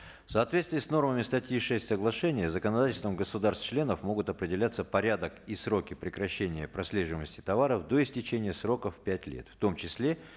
в соответствии с нормами статьи шесть соглашения законодательством государств членов могут определяться порядок и сроки прекращения прослеживаемости товаров до истечения срока в пять лет в том числе